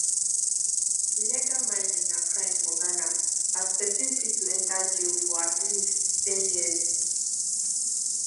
illegal mining na crime for ghana as pesin fit to enta jail for at least ten years